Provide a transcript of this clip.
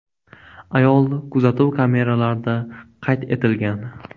Ayol kuzatuv kameralarida qayd etilgan.